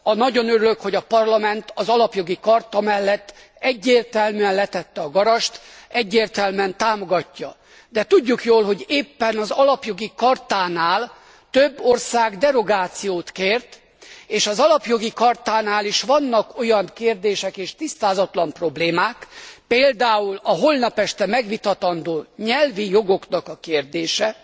Nagyon örülök, hogy a Parlament az Alapjogi Charta mellett egyértelműen letette a garast, egyértelműen támogatja, de tudjuk jól, hogy éppen az Alapjogi Chartánál több ország derogációt kért és az Alapjogi Chartánál is vannak olyan kérdések és tisztázatlan problémák például a holnap este megvitatandó nyelvi jogok kérdése